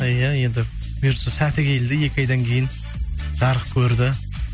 иә енді бұйыртса сәті келді екі айдан кейін жарық көрді